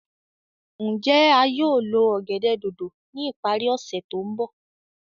Njẹ a yóò lo ọ̀gẹ̀dẹ̀ dòdò ni ipari ose to nbọ?